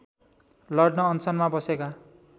लड्न अनसनमा बसेका